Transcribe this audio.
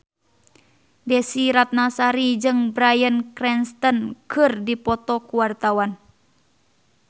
Desy Ratnasari jeung Bryan Cranston keur dipoto ku wartawan